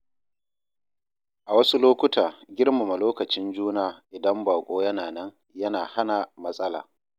A wasu lokuta, girmama lokacin juna idan baƙo yana nan yana hana matsala.